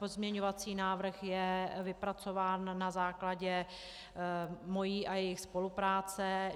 Pozměňovací návrh je vypracován na základě mé a jejich spolupráce.